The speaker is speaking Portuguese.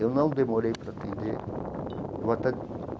Eu não demorei para atender eu até.